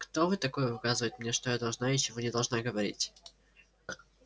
кто вы такой указывать мне что я должна и чего не должна говорить